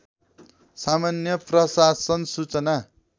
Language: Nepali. सामान्य प्रशासन सूचना